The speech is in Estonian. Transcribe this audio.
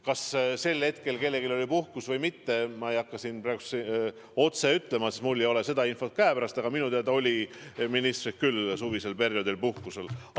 Kas sel hetkel kellelgi oli puhkus või mitte, ma ei hakka siin praegu ütlema, sest mul ei ole seda infot käepärast, aga minu teada olid ministrid küll suvisel perioodil puhkusel.